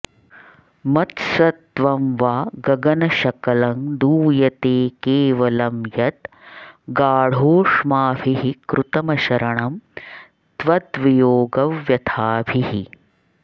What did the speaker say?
मत्सत्वं वा गगनशकलं दूयते केवलं यद् गाढोष्माभिः कृतमशरणं त्वद्वियोगव्यथाभिः